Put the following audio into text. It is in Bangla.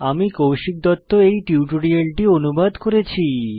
আমি কৌশিক দত্ত এই টিউটোরিয়ালটি অনুবাদ করেছি